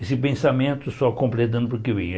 Esse pensamento só completando porque vem.